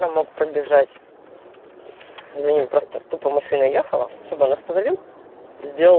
про мог пробежать за ним просто тупо машина ехала чтобы он остановил сделал